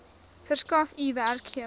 verskaf u werkgewer